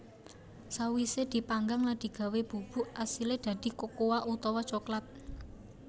Sawisé dipanggang lan digawé bubuk asilé dadi kokoa utawa coklat